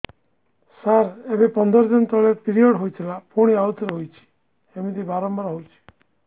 ସାର ଏବେ ପନ୍ଦର ଦିନ ତଳେ ପିରିଅଡ଼ ହୋଇଥିଲା ପୁଣି ଆଉଥରେ ହୋଇଛି ଏମିତି ବାରମ୍ବାର ହଉଛି